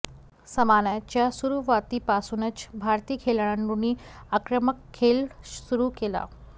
सामन्याच्या सुरूवातीपासूनच भारतीय खेळाडूंनी आक्रमक खेळ सुरू केला